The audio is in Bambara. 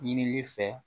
Ɲinili fɛ